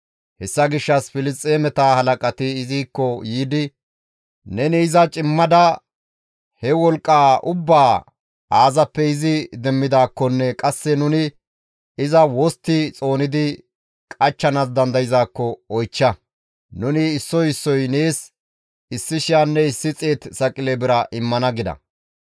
Hessa gishshas Filisxeemeta halaqati izikko yiidi, «Neni iza cimmada, he wolqqaa ubbaa aazappe izi demmidaakkonne qasse nuni iza wostti xoonidi qachchanaas dandayzaakko oychcha; nuni issoy issoy nees 1,100 saqile bira immana» gida.